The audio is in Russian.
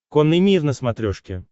конный мир на смотрешке